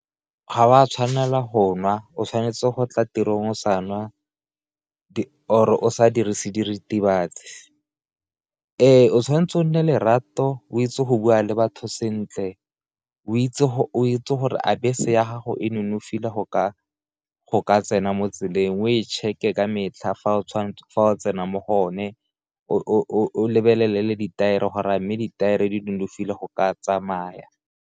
Ga wa tshwanela go nwa, o tshwanetse go tla tirong sa nwa or o sa dirise diritibats, ee o tshwanetse o nne lerato o itse go bua le batho sentle o itse gore a bese ya gago e nonofile go ka tsena mo tseleng o e check-e ka metlha fa o tsena mo go yone, o lebelele ditaere gore a mme ditaere di nonofile go ka tsamaya.